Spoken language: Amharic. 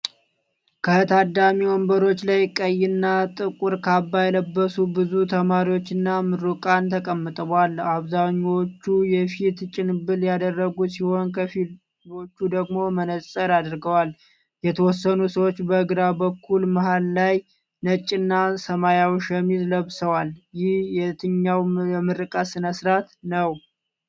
ከታዳሚ ወንበሮች ላይ ቀይና ጥቁር ካባ የለበሱ ብዙ ተማሪዎችና ምሩቃን ተቀምጠዋል። አብዛኛዎቹ የፊት ጭንብል ያደረጉ ሲሆን፣ ከፊሎቹ ደግሞ መነጽር አድርገዋል። የተወሰኑ ሰዎች በግራ በኩል መሃል ላይ ነጭና ሰማያዊ ሸሚዝ ለብሰዋል። ይህ የትኛው የምረቃ ስነ-ስርዓት ነው?